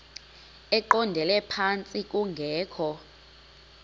eqondele phantsi kungekho